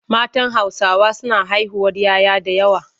Matan Hausawa suna haihuwar 'ya 'ya da yawa.